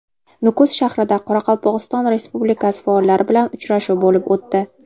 Nukus shahrida Qoraqalpog‘iston Respublikasi faollari bilan uchrashuv bo‘lib o‘tdi.